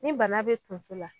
Ni bana bɛ Tonso la